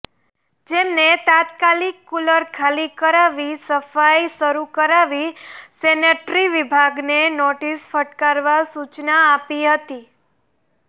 જેમને તાત્કાલિક કુલર ખાલી કરાવી સફાઈ શરૂ કરાવી સેનેટરી વિભાગને નોટિસ ફટકારવા સૂચના આપી હતી